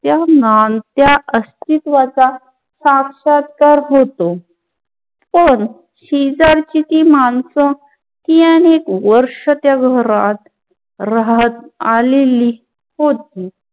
या अस्तित्वाचा साक्षात्कार होतो पण शेजारची ती मानस अनेक वर्ष त्या घरात राहत आलेली होती